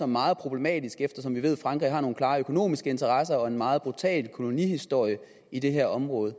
meget problematisk eftersom vi ved at frankrig har nogle klare økonomiske interesser og en meget brutal kolonihistorie i det her område